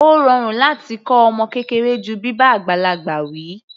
Ó rọrùn láti kọ́ ọmọ kékeré ju bíbá àgbàlagbà wi.